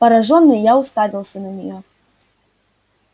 поражённый я уставился на нее